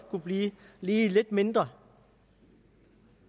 kunne blive lidt lidt mindre